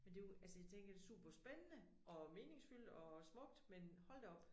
Men det jo altså jeg tænker det spændende og meningsfyldt og smukt men hold da op